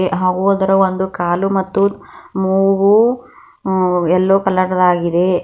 ಹಾಗು ಅದರ ಒಂದು ಕಾಲು ಮುತ್ತು ಮೂಗು ಎಲ್ಲೋ ಕಲರ್ ದಾಗಿದೆ.